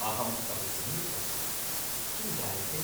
अहम् अपि सम्यक् अस्मि। किं जायते ?